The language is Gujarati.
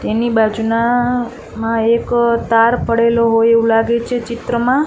તેની બાજુનામાં એક તાર પડેલો હોય એવું લાગે છે ચિત્રમાં.